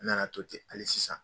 N nana to ten hali sisan.